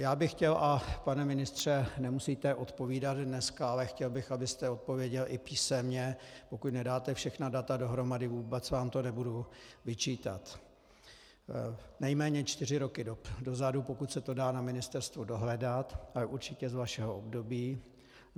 Já bych chtěl - a pane ministře, nemusíte odpovídat dneska, ale chtěl bych, abyste odpověděl i písemně, pokud nedáte všechna data dohromady, vůbec vám to nebudu vyčítat, nejméně čtyři roky dozadu, pokud se to dá na ministerstvu dohledat, ale určitě z vašeho období.